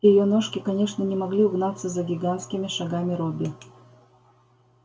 её ножки конечно не могли угнаться за гигантскими шагами робби